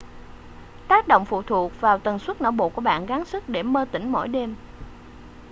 tác động phụ thuộc vào tần suất não bộ của bạn gắng sức để mơ tỉnh mỗi đêm